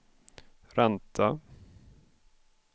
ränta